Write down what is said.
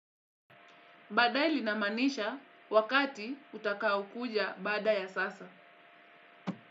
Baadaye linamaanisha wakati utakaokuja baada ya sasa.